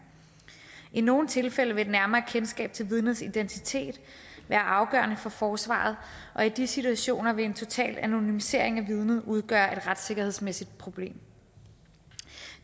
i nogle tilfælde vil et nærmere kendskab til vidnets identitet være afgørende for forsvaret og i de situationer vil en total anonymisering af vidnet udgøre et retssikkerhedsmæssigt problem